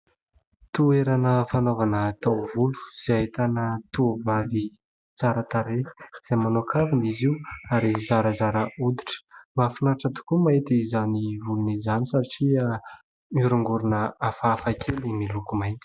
Toerana fanaovana taovolo izay ahitana tovovavy tsara tarehy, izay manao kavina izy io ary zarazara hoditra. Mahafinaritra tokoa mahita izany volony izany satria mihorongorona hafahafa kely miloko mainty.